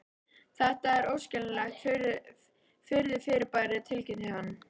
Þetta er óskiljanlegt furðufyrirbæri tilkynnti hann.